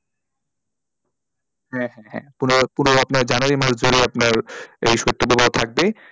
হ্যাঁ হ্যাঁ পুরো আপনার January মাস ধরে আপনার এই শৈতপ্রবাহ থাকবে।